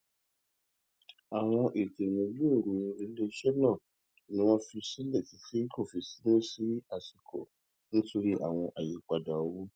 àwọn ètò ìmúgbòòrò iléiṣẹ náà ni wọn fi sílẹ títí tí kò fi ní sí àsìkò nítorí àwọn àyípadà owó